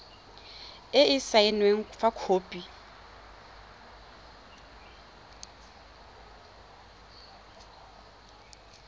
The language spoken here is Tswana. e e saenweng fa khopi